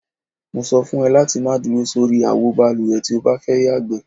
Mo so̩ fún e̩ láti má duro sórí àwo balùwè tí o bá fé̩ yàgbé.